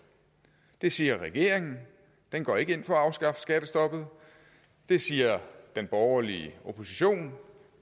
det siger regeringen den går ikke ind for at afskaffe skattestoppet det siger den borgerlige opposition